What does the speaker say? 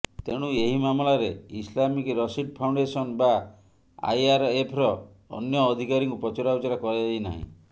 ତେଣୁ ଏହି ମାମଲାରେ ଇସ୍ଲାମିକ ରସିର୍ଟ ଫାଉଣ୍ଡେସନ ବା ଆଇଆର୍ଏଫ୍ର ଅନ୍ୟ ଅଧିକାରୀଙ୍କୁ ପଚରାଉଚରା କରାଯାଇ ନାହିଁ